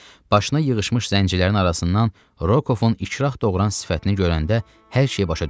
Başına yığışmış zəncilərin arasından Rukovun ikrah doğuran sifətini görəndə hər şey başa düşdü.